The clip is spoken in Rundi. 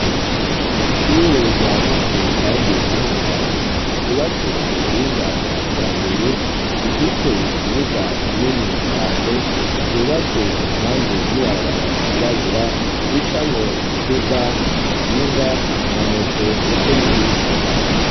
Ishure ryagutse kandi rinini cane ryubatswe ku buhinga bwa kijambere rifise ikibuga kinini cane ryubatswe impande y'ibarabara ryirabura ricamwo imiduga, amakinga, amamoto ndetse n'ibindi.